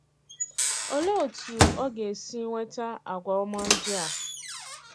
Òlee otú ọ ga-èsì nweta àgwà òma ndị à?